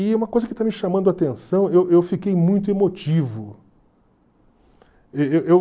E uma coisa que está me chamando a atenção, eu eu fiquei muito emotivo.